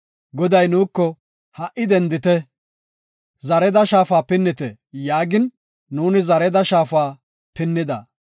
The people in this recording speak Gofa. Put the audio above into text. Goday nuuko, “Ha77i dendite, Zareada Shaafa pinnite” yaagin, nuuni Zareda Shaafa pinnida.